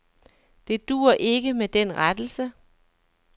Det duer ikke med den rettelse.